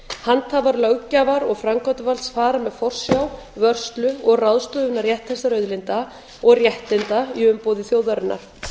handhafar löggjafar og framkvæmdarvalds fara með forsjá vörslu og ráðstöfunarrétt þessara auðlinda og réttinda í umboði þjóðarinnar